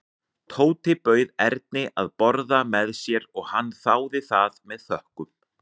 Tóti bauð Erni að borða með sér og hann þáði það með þökkum.